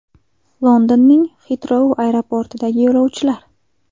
Londonning Xitrou aeroportidagi yo‘lovchilar.